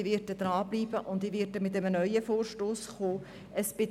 Ich werde dranbleiben und einen neuen Vorstoss einreichen.